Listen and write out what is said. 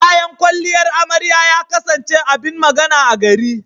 Kayan kwalliyar amarya ya kasance abin magana a gari.